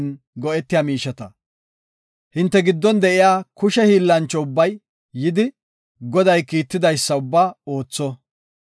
“Hinte giddon de7iya kushe hiillancho ubbay yidi, Goday kiitidaysa ubbaa ootho.